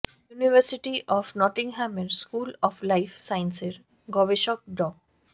university of নটিংহামের school of life সায়েন্সের গবেষক ড